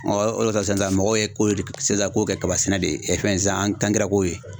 o de kɔsɔn sisan mɔgɔw ye ko sisan kow kɛ kaba sɛnɛ de ye fɛn ko ye.